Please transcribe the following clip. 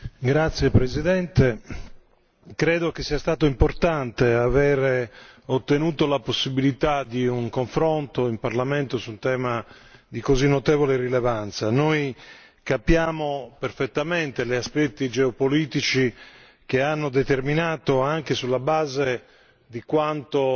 Signora Presidente, onorevoli colleghi, credo che sia stato importante aver ottenuto la possibilità di un confronto in Parlamento su un tema di così notevole rilevanza. Noi capiamo perfettamente gli aspetti geopolitici che hanno determinato, anche sulla base di quanto